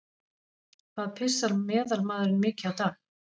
Hvað pissar meðalmaðurinn mikið á dag?